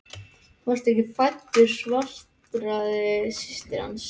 Þú varst ekki fæddur svaraði systir hans.